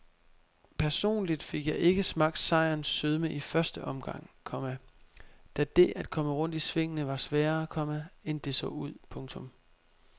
Personligt fik jeg ikke smagt sejrens sødme i første omgang, komma da det at komme rundt i svingene var sværere, komma end det så ud. punktum